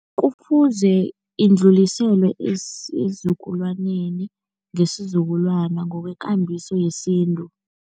Kufuze indluliselwe esizukulwaneni ngesizukulwana ngokwekambiso yesintu.